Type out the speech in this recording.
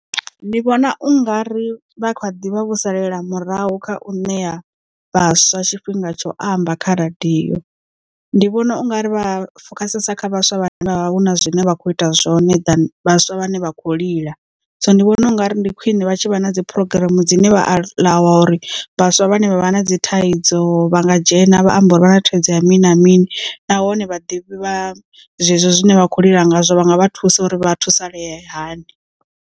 Ndi vhona u nga ri vha kha ḓivha vho salele murahu kha u ṋea vhaswa tshifhinga tsho amba kha radio ndi vhona ungari vha fokhasesa kha vhaswa vhane vha hu na zwine vha kho ita zwone than vhaswa vhane vha kho lila so ndi vhona ungari ndi khwiṋe vha tshi vha na dzi program dzine vha aḽawa uri vhaswa vhane vha vha na dzi thaidzo vha nga dzhena vha amba uri vha na thaidzo ya mini na mini nahone vha ḓivho vha zwezwo zwine vha khou lila ngazwo vha nga vha thusa uri vha thusalee hani.